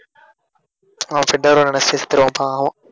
ஆஹ் பாவம்